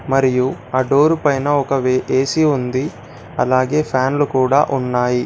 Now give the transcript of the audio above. మరియు ఆ డోరు పైన ఒక ఏ_సీ ఉంది. అలాగే ఫ్యాన్లు కూడా ఉన్నాయి.